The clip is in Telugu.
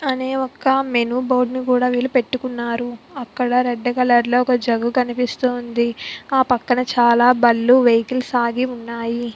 అనే ఒక మెనూ బోర్డు ని కూడా వీలు పెట్టుకున్నారు అక్కడ రెడ్ కలర్ లో ఒక జగ్గు కనిపిస్తుంది. ఆ పక్కన చాలా బళ్ళు వెహికల్స్ ఆగి ఉన్నాయి.